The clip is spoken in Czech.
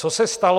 Co se stalo?